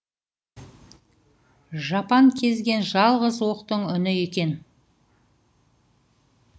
жапан кезген жалғыз оқтың үні екен